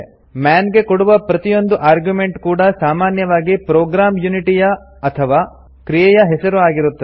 ಮನ್ ಗೆ ಕೊಡುವ ಪ್ರತಿಯೊಂದು ಆರ್ಗ್ಯುಮೆಂಟ್ ಕೂಡಾ ಸಾಮಾನ್ಯವಾಗಿ ಪ್ರೋಗ್ರಾಮ್ ಯುನಿಟಿಯ ಅಥವಾ ಕ್ರಿಯೆಯ ಹೆಸರು ಆಗಿರುತ್ತದೆ